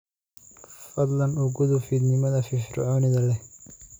fadlan u gudub fiidnimada firfircoonida leh